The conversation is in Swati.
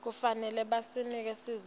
kufanele banike sizatfu